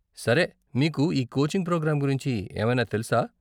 సరే, మీకు ఈ కోచింగ్ ప్రోగ్రాం గురించి ఏమైనా తెలుసా?